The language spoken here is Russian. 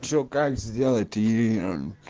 ещё как сделать ии